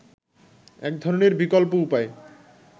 একধরনের বিকল্প উপায়